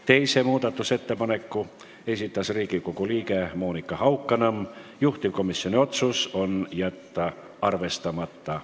Teise muudatusettepaneku on esitanud Riigikogu liige Monika Haukanõmm, juhtivkomisjoni otsus: jätta arvestamata.